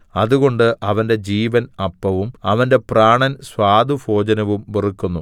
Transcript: അതുകൊണ്ട് അവന്റെ ജീവൻ അപ്പവും അവന്റെ പ്രാണൻ സ്വാദുഭോജനവും വെറുക്കുന്നു